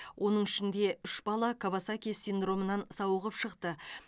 оның ішінде үш бала кавасаки синдромынан сауығып шықты